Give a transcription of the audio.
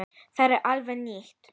Það sé alveg nýtt.